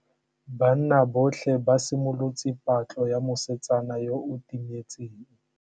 Banna botlhê ba simolotse patlô ya mosetsana yo o timetseng.